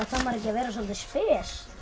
maður ekki að vera soldið pes